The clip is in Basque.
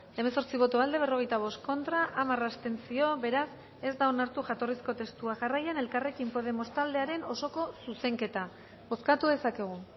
hemezortzi boto aldekoa berrogeita bost contra hamar abstentzio beraz ez da onartu jatorrizko testua jarraian elkarrekin podemos taldearen osoko zuzenketa bozkatu dezakegu